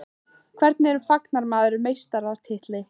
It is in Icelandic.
Hvernig fagnar maður meistaratitli?